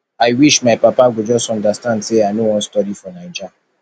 i wish my papa go just understand sey i no wan study for naija